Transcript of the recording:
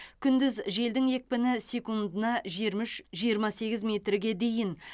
күндіз желдің екпіні секундына жиырма үш жиырма сегіз метрге дейін